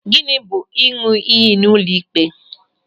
Gịnị bụ ịṅụ iyi n'ụlọ ịkpe?